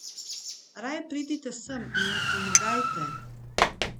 Raje pridite sem in mi pomagajte!